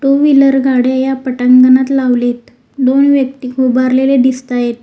To wheeler गाडी या पटांगणात लावलेत दोन व्यक्ती उभारलेले दिसत आहेत.